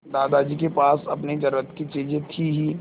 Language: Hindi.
दादाजी के पास अपनी ज़रूरत की चीजें थी हीं